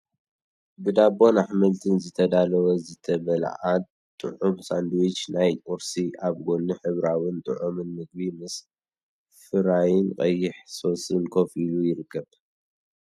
ብዳቦን ኣሕምልትን ዝተዳለወን ዝተመልአን ጥዑም ሳንድዊች ናይ ቁርሲ ኣብ ጎኒ ሕብራዊን ጥዑምን ምግቢ ምስ ፍራይን ቀይሕ ሶስን ኮፍ ኢሉ ይርከብ።